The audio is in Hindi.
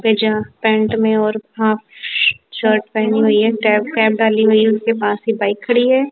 पे जा पॅन्ट में और हाफ शर्ट पहनी हुई हैं डॅप कॅप डाली हुई हैं उसके पास ही बाइक खड़ी हैं।